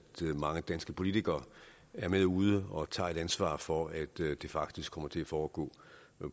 mange danske politikere er med ude og tager et ansvar for at det faktisk kommer til at foregå